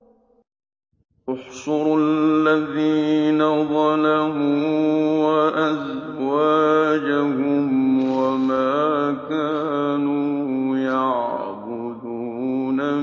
۞ احْشُرُوا الَّذِينَ ظَلَمُوا وَأَزْوَاجَهُمْ وَمَا كَانُوا يَعْبُدُونَ